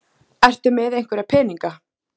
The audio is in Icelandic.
Ertu með einhverja peninga?